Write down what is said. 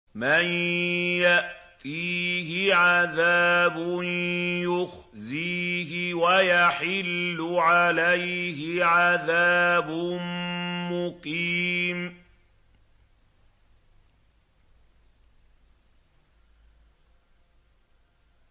مَن يَأْتِيهِ عَذَابٌ يُخْزِيهِ وَيَحِلُّ عَلَيْهِ عَذَابٌ مُّقِيمٌ